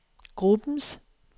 gruppens